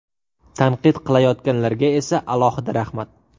Tanqid qilayotganlarga esa alohida rahmat.